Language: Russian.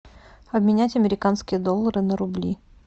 обменять американские доллары на рубли